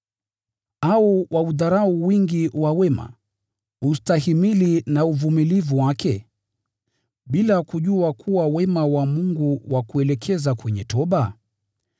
Au waudharau wingi wa wema, ustahimili na uvumilivu wake, bila kujua kuwa wema wa Mungu wakuelekeza kwenye toba?